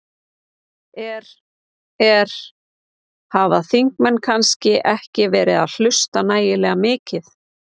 Er, er, hafa þingmenn kannski ekki verið að hlusta nægilega mikið?